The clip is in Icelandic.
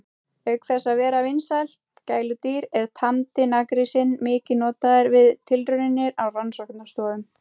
Auk þess að vera vinsælt gæludýr er tamdi naggrísinn mikið notaður við tilraunir á rannsóknastofum.